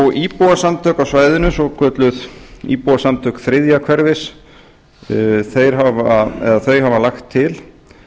kringlumýrarbraut íbúasamtök á svæðinu svokölluð íbúasamtök þriðja hverfis þau hafa lagt til